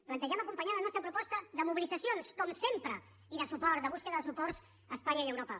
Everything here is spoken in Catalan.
plantegem acompanyar la nostra proposta de mobilitzacions com sempre i de suport de cerca de suports a espanya i a europa